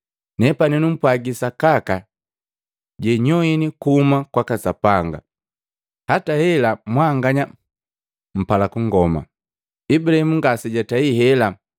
Nepani numpwagi sakaka jenyoini kuhuma kwaka Sapanga, hata hela mwanganya mpala kungoma. Ibulahimu ngasejatei hela!